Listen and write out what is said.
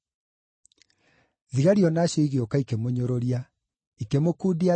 Thigari o nacio igĩũka, ikĩmũnyũrũria. Ikĩmũkundia thiki,